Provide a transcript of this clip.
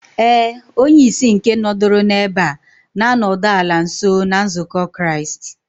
,Éè, onye-ìsì nke nọduru n'ebe a, nānọdu ala nso na nzukọ Kraist.